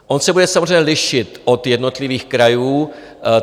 On se bude samozřejmě lišit od jednotlivých krajů.